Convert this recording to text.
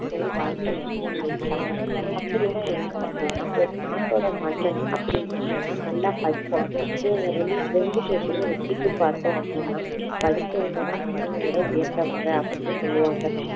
வாழ்த்துல வந்து சொல்லி இருக்காங்க அப்படின்னா என்ன அப்படின்னா ஒரு நாட்டோட மன்னன் அப்படி இல்லன்னா நல்லா படிச்சவன் இவங்க ரெ~ ரெண்டு பேத்தையும் ஒப்பிட்டு பார்த்தோம் அப்படின்னா படிச்சவங்க தான் மன்னனை விட உயர்ந்தவங்க அப்படின்னு சொல்லுவாங்க